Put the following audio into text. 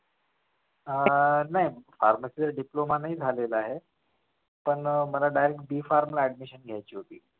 अह नाही pharmacy चा diploma नाही झालेला आहे पण मला direct B farm ला admission घ्यायचे होते.